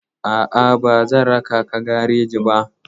A'a, ba zan raka ka gareji ba.